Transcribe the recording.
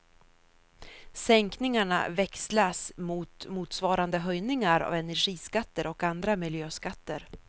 Sänkningarna växlas mot motsvarande höjningar av energiskatter och andra miljöskatter.